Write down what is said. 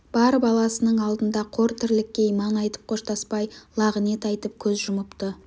бар баласының алдында қор тірлікке иман айтып қоштаспай лағынет айтып көз жұмыпты